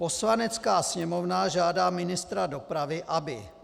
Poslanecká sněmovna žádá ministra dopravy, aby